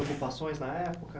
Ocupações na época.